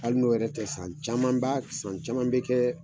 Hali n'o yɛrɛ tɛ, san caman ba san caman be kɛ